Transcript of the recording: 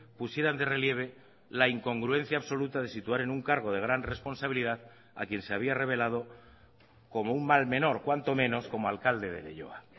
pusieran de relieve la incongruencia absoluta de situar en un cargo de gran responsabilidad a quien se había revelado como un mal menor cuanto menos como alcalde de leioa